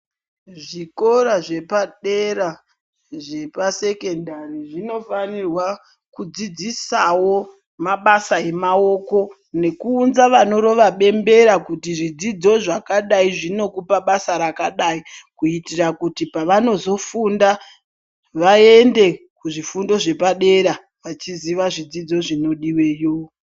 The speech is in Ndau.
Zvikora zvepadera zvepasekendari zvinofanirwa kudzidzisawo mabasa emaoko nekuunza vanorova bembera kuti zvidzidzo zvakadai zvinokupa basa rakadai kuitira kuti pavanozofunda vaende kuzvifundo zvepadera vachiziva zvidzidzo zvinodiweyo.